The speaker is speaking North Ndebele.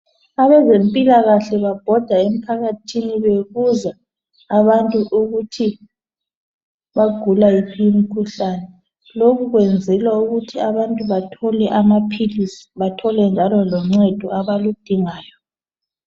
Abezempilakahle babhoda emphakathini bebuza ukuthi abantu bagula wuphi umkhuhlani lokhu kwenzelwa ukuthi abantu bathole amaphilisi bathole njalo loncedo abaludingayo